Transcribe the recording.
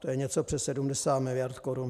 To je něco přes 70 miliard korun.